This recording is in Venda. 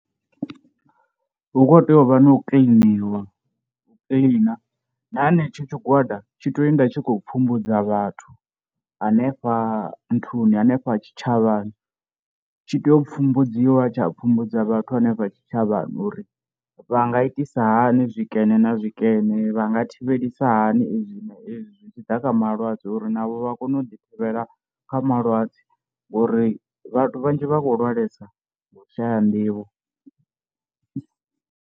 Hu kho tea u vha na u kiḽiniwa u kiḽina, na henetsho tshigwada tshi tea u enda tshi khou pfhumbudzwa vhathu hanefha nthuni hanefha tshitshavhani, tshi tea u pfhumbudziwa tsha pfhumbudza vhathu hanefha tshitshavhani uri vha nga itisa hani zwikene na zwikene vha nga thivhelisa hani izwi na izwi zwi tshi ḓa kha malwadze uri navho vha kone u ḓi thivhelwa kha malwadze ngori vhathu vhanzhi vha khou lwalesa nga u shaya nḓivho.